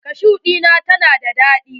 Kashu ɗinnan ta na da daɗi.